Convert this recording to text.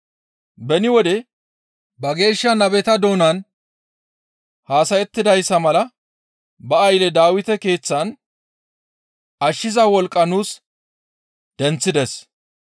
Beni wode ba geeshsha nabeta doonan haasayettidayssa mala ba aylle Dawite keeththan ashshiza wolqqa nuus denththides.